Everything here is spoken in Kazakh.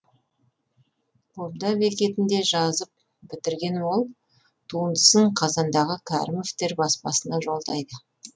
қобда бекетінде жазып бітірген ол туындысын қазандағы кәрімовтер баспасына жолдайды